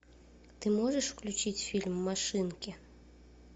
ты можешь включить фильм машинки